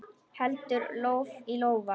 Heldur lof í lófa.